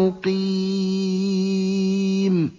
مُّقِيمٌ